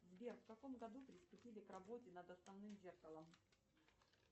сбер в каком году приступили к работе над основным зеркалом